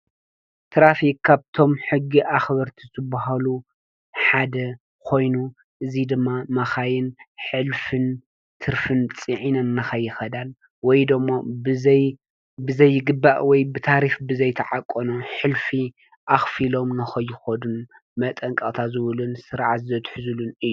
ትራፊክ ካብቶም ሕጊ ኣኽበርቲ ዘብሃሉ ሓደ ኾይኑ እዙይ ድማ ማኻይን ሕልፍን ትርፍን ፂዕነ ንኸይኸዳን ወይ ዶሞ ብዘይግባእ ወይ ብታሪፍ ብዘይተዓቆኖ ኅልፊ ኣኽፊኢሎም ነኸይኾዱን መጠንቃቕታ ዝውልን ሠርዓዘት ሕዙሉን እዩ።